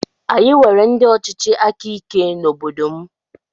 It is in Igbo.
Anyị nwere ndị ọchịchị áká ike n'obodo m.